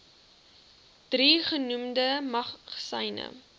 drie genoemde magasyne